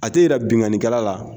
A tɛ yɛrɛ binkanikɛla la